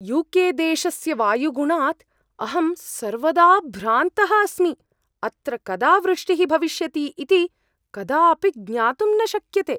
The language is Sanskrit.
यू.के.देशस्य वायुगुणात् अहं सर्वदा भ्रान्तः अस्मि। अत्र कदा वृष्टिः भविष्यति इति कदापि ज्ञातुं न शक्यते।